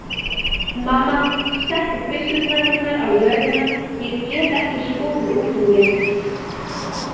Mamma, settu byssurnar mínar á jörðina, ég get ekki skotið úr þeim lengur.